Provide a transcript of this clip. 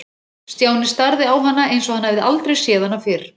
Stjáni starði á hana eins og hann hefði aldrei séð hana fyrr.